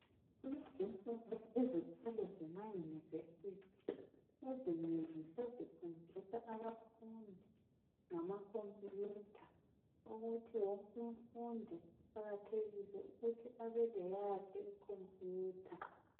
Kulezi insuku izikolo zemaYunivesi ezinengi sezifundisa abafundi ngamakhompiyutha ukuthi wonk'umfundi kuqakathekile ukuthi abe leyakhe ikhompiyutha.